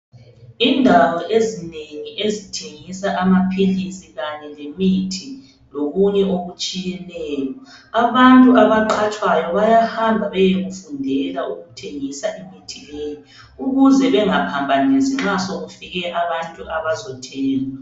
Indawo ezinengi ezithengisa amaphilisi lemithi lokunye okunengi. Abantu abaqhatshaywayo bayahamba beyekufundela ukuthengisa imithi leyi ukuze bengaphambanisi sokufike abantu bezothenga imithi leyi.